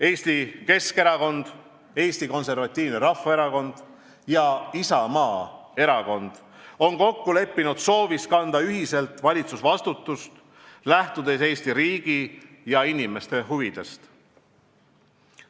Eesti Keskerakond, Eesti Konservatiivne Rahvaerakond ja Isamaa erakond on kokku leppinud soovis kanda ühiselt valitsusvastutust, lähtudes Eesti riigi ja inimeste huvidest.